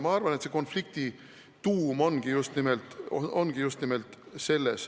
Ma arvan, et konflikti tuum ongi just nimelt selles.